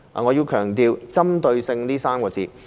我要強調"針對性"這3個字。